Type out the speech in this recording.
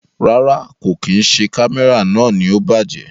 Rárá, kò kí n ṣe Kámẹ́rà náà ni ó bàjẹ́.